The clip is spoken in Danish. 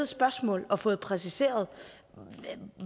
spørgsmål og fået præciseret